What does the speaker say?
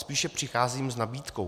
Spíše přicházím s nabídkou.